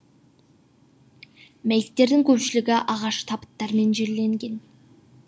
мәйіттердің көпшілігі ағаш табыттармен жерленген